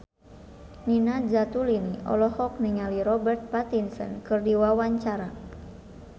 Nina Zatulini olohok ningali Robert Pattinson keur diwawancara